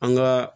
An ka